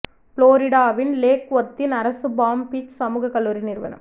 புளோரிடாவின் lake வொர்த்தின் அரசு palm beach சமூக கல்லூரி நிறுவனம்